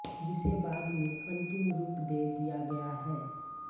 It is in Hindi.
जिसे बाद में अंतिम रूप दे दिया गया है